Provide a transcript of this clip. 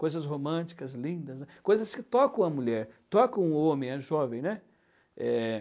Coisas românticas, lindas, coisas que tocam a mulher, tocam o homem, é jovem, né? Eh...